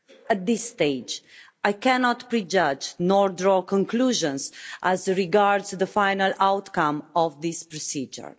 At this stage, I cannot prejudge or draw conclusions as regards the final outcome of this procedure.